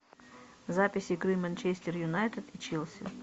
запись игры манчестер юнайтед и челси